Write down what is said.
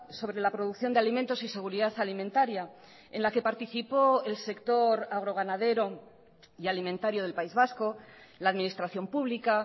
sobre la producción de alimentos y seguridad alimentaria en la que participó el sector agro ganadero y alimentario del país vasco la administración pública